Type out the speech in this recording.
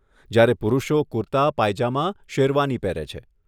જયારે પુરુષો કુર્તા, પાયજામા, શેરવાની પહેરે છે.